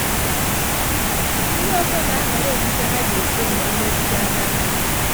Ndị ọzọ na - ahọrọ okpukpe ha ga - ekpe ma emechaa na ndụ.